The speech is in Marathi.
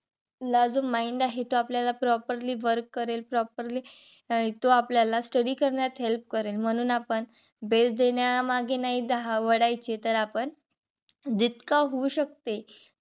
आपला जो mind आहे तो आपल्याला properly work करेल. properly तो study करण्यात मदत करेल. म्हणू आपण best देण्यामागे नाही धा वढायचे तर आपण जितका होऊ शकते.